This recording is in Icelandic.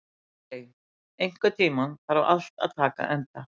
Arey, einhvern tímann þarf allt að taka enda.